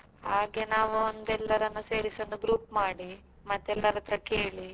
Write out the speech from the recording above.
ಹಾಗೆ ನಾವೊಂದು ಎಲ್ಲರನ್ನು ಸೇರಿಸಿ ಒಂದು group ಮಾಡಿ ಮತ್ತೆ ಎಲ್ಲರತ್ರ ಕೇಳಿ.